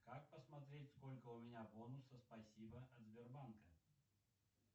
как посмотреть сколько у меня бонусов спасибо от сбербанка